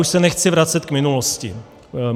Už se nechci vracet k minulosti.